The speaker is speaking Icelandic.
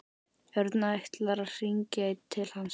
Örn ætlar að hringja til hans.